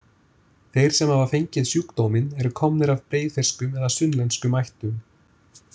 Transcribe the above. Þeir sem hafa fengið sjúkdóminn eru komnir af breiðfirskum eða sunnlenskum ættum.